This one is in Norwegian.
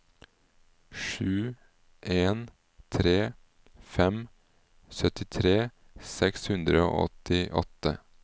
sju en tre fem syttitre seks hundre og åttiåtte